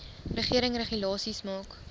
regering regulasies maak